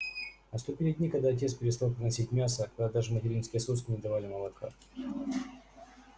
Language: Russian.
наступили дни когда отец перестал приносить мясо когда даже материнские соски не давали молока